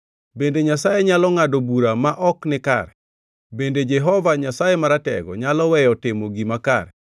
Bende Nyasaye nyalo ngʼado bura ma ok nikare? Bende Jehova Nyasaye Maratego nyalo weyo timo gima kare?